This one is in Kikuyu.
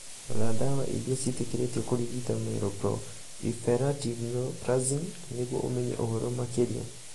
Rora 'ndawa iria ciĩtĩkĩrĩtio kũrigita myeloproliferative neoplasms' nĩguo ũmenye ũhoro makĩria.